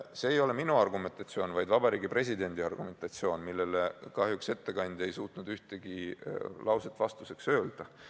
See ei ole minu argumentatsioon, vaid Vabariigi Presidendi argumentatsioon, millele ettekandja ei suutnud kahjuks ühtegi lauset vastuseks öelda.